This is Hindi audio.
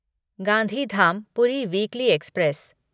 Gandhidham Puri weekly express